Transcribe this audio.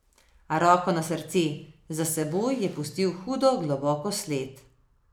A roko na srce, za seboj je pustil hudo globoko sled.